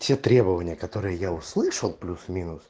те требования которые я услышал плюс минус